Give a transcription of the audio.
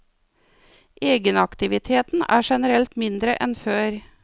Egenaktiviteten er generelt mindre enn før.